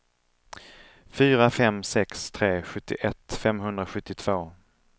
fyra fem sex tre sjuttioett femhundrasjuttiotvå